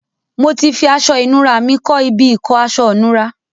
Mo ti fi aṣọ ìnura mi kọ́ ibi ìkọ́ aṣọ̀nura.